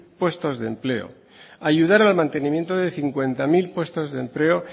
puestos de empleo ayudar al mantenimiento de cincuenta mil puestos de empleo